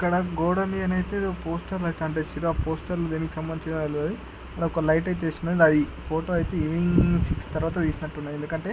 ఇక్కడ గోడ మీద అయితే పోస్టర్లు గట్రా అంటించింరు.ఆ పోస్టర్లు దీనికి సంబందించినవి అలోరే.ఒక లైట్ తీసుకున్నాను అది. ఫోటో అయితే ఈవెనింగ్సి సిక్స్ తర్వాత తీసినట్టుంది. ఎందుకంటే--